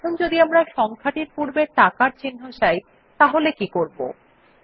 এখন যদি আমরা সংখ্যার পূর্বে টাকার চিন্হ চাই তাহলে কী করবো160